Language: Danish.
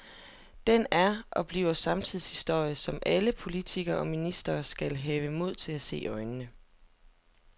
Den er og bliver samtidshistorie, som alle politikere og ministre skal have mod til at se i øjnene.